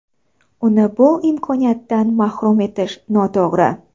Uni bu imkoniyatdan mahrum etish noto‘g‘ri.